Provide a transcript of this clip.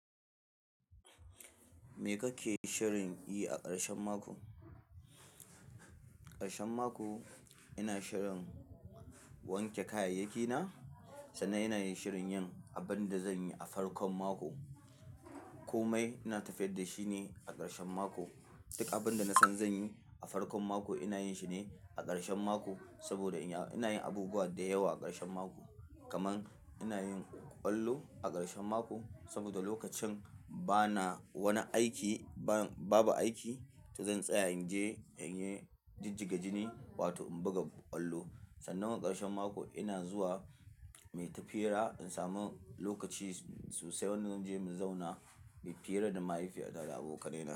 Me kake shirinyi a karshen mako? A karshen mako ina shirin wanke kayayyakina, sannan ina yin shirin yin abin da zan yi a farkon mako. Komai ina tafiyar da shi ne a karshen mako. Duk abin da nasan zan yi a farkon mako ina yin shi ne a karshen mako saboda ina yin abubuwa da yawa a karshen mako. Kaman ina yin ƙwallo a karshen mako saboda lokacin bana wani aiki, babu aiki, to zan tsaya in je in yi jijjiga jini wato in buga ƙwallo. Sannan a karshen mako ina zuwa muyi tafiira in samu lokaci sosai, zan je mu zauna mai fiira da mahaifiyata da abokaina.